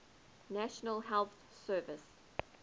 national health service